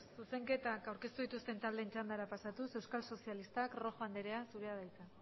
zuzenketak aurkeztu dituzten taldeen txandara pasatuz euskal sozialistak rojo anderea zurea da hitza